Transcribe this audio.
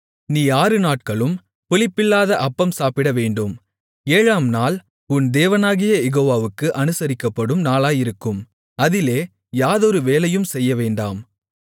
நீ ஆறு நாட்களும் புளிப்பில்லாத அப்பம் சாப்பிடவேண்டும் ஏழாம் நாள் உன் தேவனாகிய யெகோவாவுக்கு அனுசரிக்கப்படும் நாளாயிருக்கும் அதிலே யாதொரு வேலையும் செய்யவேண்டாம்